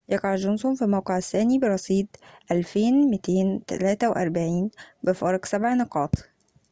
يقع جونسون في الموقع الثاني برصيد 2243 بفارق سبع نقاطٍ